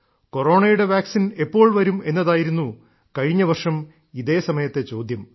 കൊറോണയുടെ വാക്സിൻ എപ്പോൾ വരും എന്നതായിരുന്നു കഴിഞ്ഞവർഷം ഇതേ സമയത്തെ ചോദ്യം